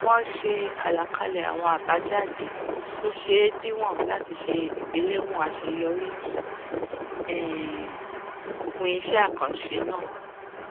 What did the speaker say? wón ṣe àlàkalẹ àwọn àbájáde tó ṣeé díwòn láti ṣe ìgbèléwọn àṣeyọrí ní um òpin iṣẹ àkànṣe náà